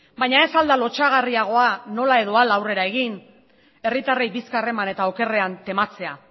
baina ez al da lotsagarriagoa nola edo hala aurrera egin herritarrei bizkar eman eta okerrean tematzea